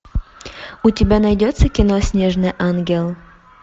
у тебя найдется кино снежный ангел